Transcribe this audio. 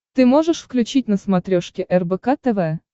ты можешь включить на смотрешке рбк тв